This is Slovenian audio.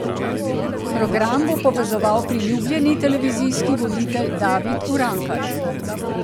Program bo povezoval priljubljeni televizijski voditelj David Urankar.